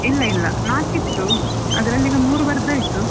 ಇಲ್ಲ ಇಲ್ಲ ನಾಕ್ ಇತ್ತು ಅದ್ರಲ್ಲಿ ಇನ್ನು ಮೂರ್ ಬರ್ದ್ ಆಯ್ತು.